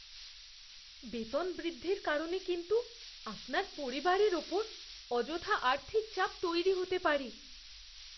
বেতন বৃদ্ধির কারণে কিন্তু আপনার পরিবারের ওপর অযথা আর্থিক চাপ তৈরি হতে পারে।